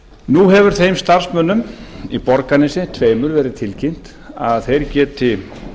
nú hefur þeim starfsmönnum í borgarnesi tveimur verið tilkynnt að þeir geti